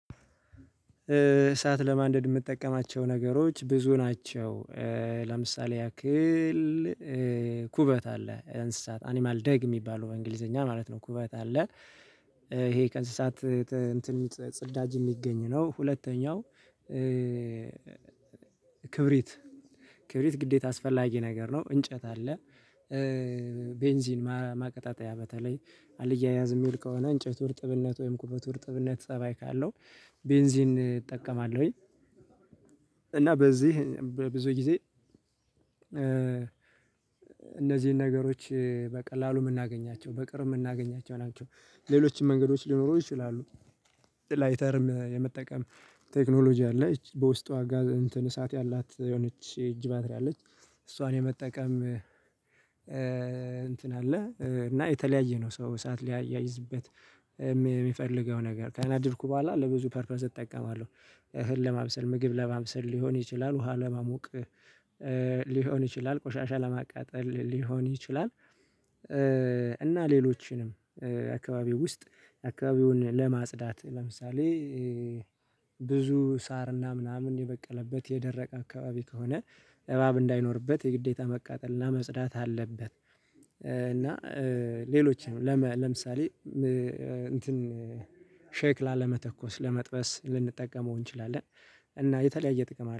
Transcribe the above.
እሳት ለማንደድ የጠቀማቸው ነገሮች ብዙ ናቸው። ለምሳሌ ያክል ኩበት አለ እንስሳት አኒማል ደግ የሚባለው በእንግሊዘኛ ማለት ነው ኩበት አለ ይሄ ከእንስሳት ጽዳጅ የሚገኝ ነው። ሁለተኛው ክብሪት ክብሪት ግዴታ አስፈላጊ ነገር ነው እንጨት አለ። ቤንዚን ማቀጣጠያ በተለይ አልያያዝ የሚል ከሆነ እንጨቱ እጥብነት ወይም ኩበቱ እርጥብነት ፀባይ ካለው ቤንዚን እጠቀማለሁኝ እና በዚህ በብዙ ጊዜ እነዚህን ነገሮች በቀላሉ የምናገኛቸው በቅርብ የምናገኛቸው ናቸው ሌሎችም መንገዶች ሊኖሩ ይችላሉ። ላይተርም የመጠቀም ቴክኖሎጂ አለ። ይቺ በውስጧ እሳት ያላት የሆነች የእጅ ባትሪ አለች እሷን የመጠቀም እንትን አለ እና የተለያየ ነው ሰው ሰዓት ሊያይዝበት የሚፈልገው ነገር ካነደድኩ በኋላ ለብዙ ፐርፐዝ እጠቀማለሁ። እህል ለማብሰል ምግብ ለማብሰል ሊሆን ይችላል ውሃ ለማሙቅ። ሊሆን ይችላል ቆሻሻ ለማቃጠል ሊሆን ይችላል እና ሌሎችንም አካባቢው ውስጥ አካባቢውን ለማጽዳት ለምሳሌ ብዙ ሳርና ምናምን የበቀለበት የደረቀ አካባቢ ከሆነ እባብ እንዳይኖርበት የግዴታ መቃጠልና መጽዳት አለበት እና ሌሎች ለምሳሌ ሼክ ላለመተኮስ ለመጥበስ ልንጠቀመው እንችላለን እና የተለያየ ጥቅም አለው።